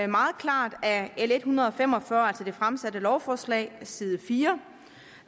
meget klart af l en hundrede og fem og fyrre altså det fremsatte lovforslag side fire